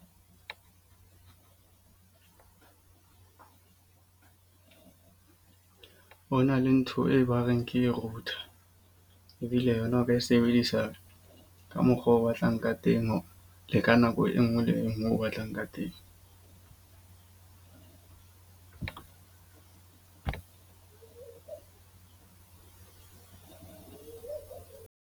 O na le ntho e ba reng ke le router. Ebile yona o ka e sebedisa ka mokgwa o batlang ka teng le ka nako e nngwe le e nngwe o batlang ka teng.